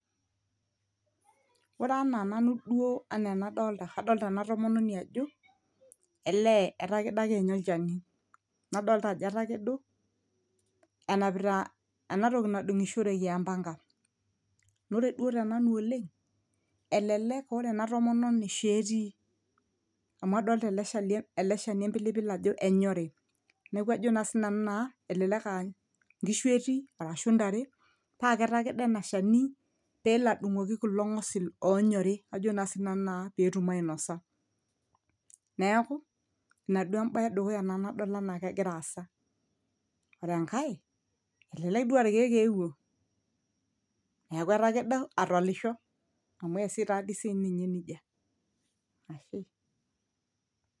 oore anaa nanu duo anaa enadolta adolta ena tomononi ajo elee etakedo ake ninye olchani nadolta ajo etakedo enapita enatoki nadung'ishoreki empanga nore duo tenanu oleng elelek ore ena tomononi shoo etii amu shali ele shani empilipil ajo enyori neeku ajo sinanu naa elelek ankishu etii arashu intare paa ketakedo ena shani peelo adung'oki kulo ng'osil onyori ajo naa sinanu naa petum ainosa neeku ina duo embaye edukuya nanu nadol enaa kegira aasa ore enkae elelek duo arkeek eewuo niaku etakedo atalisho amu eesi taa dii sininye nejia ashe.